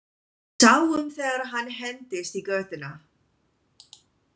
Sáum þegar hann hentist í götuna.